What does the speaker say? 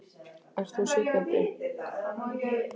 Ert þú sitjandi?